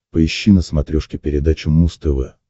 поищи на смотрешке передачу муз тв